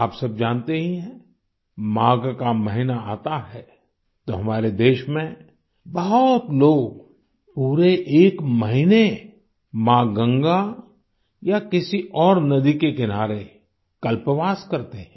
आप सब जानते ही हैं माघ का महीना आता है तो हमारे देश में बहुत लोग पूरे एक महीने माँ गंगा या किसी और नदी के किनारे कल्पवास करते हैं